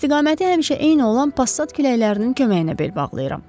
İstiqaməti həmişə eyni olan passat küləklərinin köməyinə bel bağlayıram.